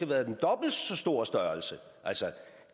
været dobbelt så stor altså